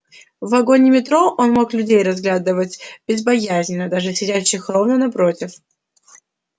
в вагоне метро он мог людей разглядывать безбоязненно даже сидящих ровно напротив